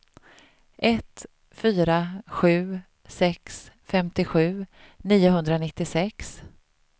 ett fyra sju sex femtiosju niohundranittiosex